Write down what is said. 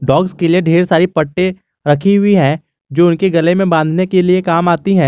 Box के लिए ढेर सारी पट्टे रखी हुई है जो उनके गले में बांधने के लिए काम आती है।